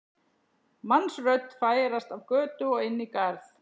mannsrödd færast af götu og inn í garð.